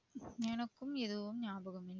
எனக்கும் எதுவும் ஞாபகம் இல்ல.